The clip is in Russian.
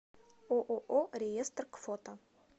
ооо реестр к фото